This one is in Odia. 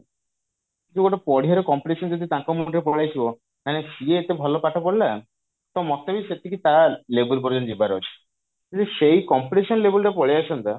ଯଉ ଗୋଟେ ପଡିବାର competition ଯଦି ତାଙ୍କ ମୁଣ୍ଡରେ ପଳେଇଆସିବ ମାନେ ସିଏ ଏତେ ଭଲ ପାଠ ପଢିଲା ତ ମୋତେ ବି ସେତିକି ତା level ପର୍ଯ୍ୟନ୍ତ ଯିବାର ଅଛି ଯଦି ସେଇ competition level ଟା ପଳେଇଆସନ୍ତା